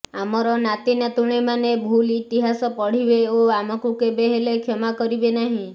ଆମର ନାତି ନାତୁଣି ମାନେ ଭୁଲ୍ ଇତିହାସ ପଢିବେ ଓ ଆମକୁ କେବେ ହେଲେ କ୍ଷମା କରିବେନାହିଁ